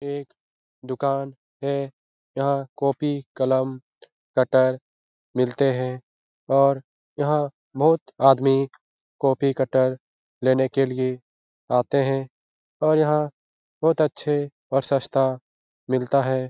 एक दुकान है । यहाँ कॉपी कलम कट्टर मिलते हैं और यहाँ बहुत आदमी कॉपी कट्टर लेने के लिए आते हैं और यहाँ बहुत अच्छे और सस्ता मिलता है ।